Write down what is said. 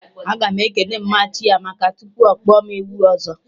Aga m ekene mma Chiamaka echi tupu ọkpọ mụ ewu ọzọ